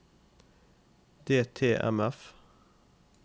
DTMF